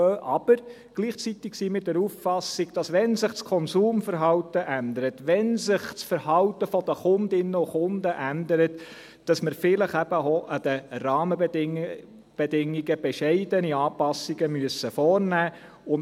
Aber: Gleichzeitig sind wir der Auffassung, dass – wenn sich das Konsumverhalten ändert, wenn sich das Verhalten der Kundinnen und Kunden ändert – wir vielleicht eben auch an den Rahmenbedingungen bescheidene Anpassungen vornehmen müssen.